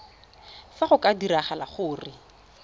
fa go ka diragala gore